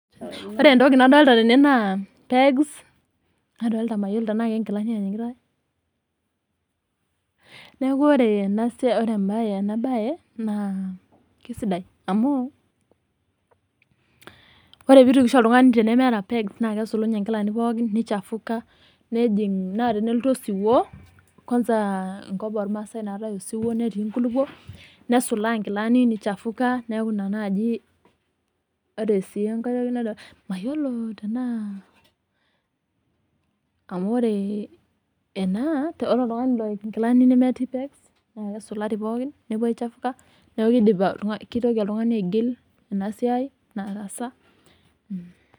Ore entoki nadolta tene naa pegs, nadolta mayiolo tenaa ke nkilani eripitai. Neeku ore enabae naa, kisidai. Amu, ore pitukisho oltung'ani tenemeeta pegs, na kesulunye nkilani pookin nichafuka, nejing' na telelotu osiwuo, kwanza enkop ormaasai naatae osiwuo netii nkulukuok, nesulaa nkilani nichafuka, neeku ina naji ore si enkae toki, mayiolo tenaa amu ore ena, ore oltung'ani loik inkilani metii pegs, na kesulari pookin, nepuo aichafuka, neku kidip kitoki oltung'ani aigil enasiai nataasa.